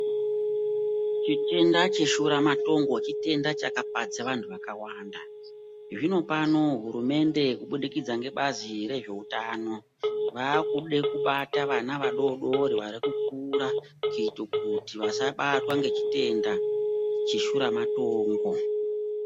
Chitenda cheshuramatongo chitenda chakapadza vantu vakawanda zvino pano hurumende kubudikidza ngebazi rezveutano vakude kubate vana vadodori vari kukura kuite kuti vasabatwa ngechitenda cheshuramatongo.